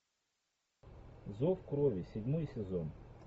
зов крови седьмой сезон